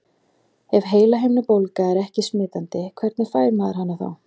Ef heilahimnubólga er ekki smitandi, hvernig fær maður hana þá?